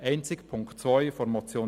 Einzig Punkt 2 der Motion